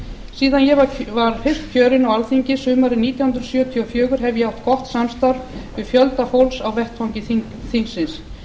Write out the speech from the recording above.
síðan ég var fyrst kjörinn á alþingi sumarið nítján hundruð sjötíu og fjögur hef ég átt gott samstarf við fjölda fólks á vettvangi þingsins